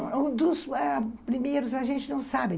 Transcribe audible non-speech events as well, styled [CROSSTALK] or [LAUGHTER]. [UNINTELLIGIBLE] Não, ãh, dos primeiros a gente não sabe.